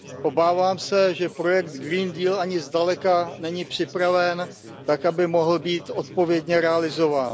Obávám se, že projekt ani zdaleka není připraven tak, aby mohl být odpovědně realizován.